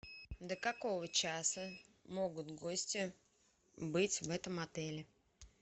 до какого часа могут гости быть в этом отеле